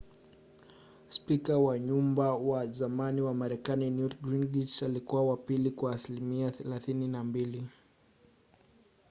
spika wa nyumba wa zamani wa marekani newt gingrich alikuwa wa pili kwa asilimia 32